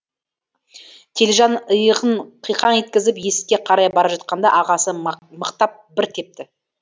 телжан иығын қиқаң еткізіп есікке қарай бара жатқанда ағасы мықтап бір тепті